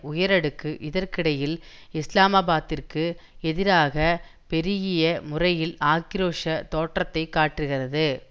உயரடுக்கு இதற்கிடையில் இஸ்லாமாபாத்திற்கு எதிராக பெருகிய முறையில் ஆக்கிரோஷ தோற்றத்தை காட்டுகிறது